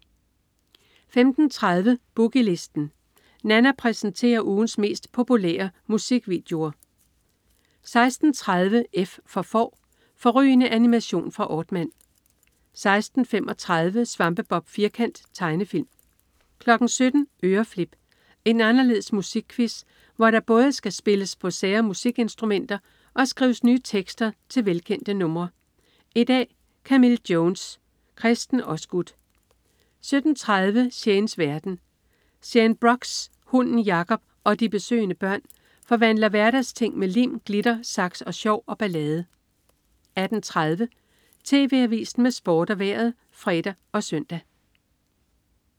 15.30 Boogie Listen. Nanna præsenterer ugens 10 mest populære musikvideoer 16.30 F for Får. Fårrygende animation fra Aardman 16.35 Svampebob Firkant. Tegnefilm 17.00 Øreflip. En anderledes musikquiz, hvor der både skal spilles på sære musikinstrumenter og skrives nye tekster til velkendte numre. I dag: Camille Jones. Kresten Osgood 17.30 Shanes verden. Shane Brox, hunden Jacob og de besøgende børn forvandler hverdagsting med lim, glitter, saks, sjov og ballade 18.30 TV Avisen med Sport og Vejret (fre og søn)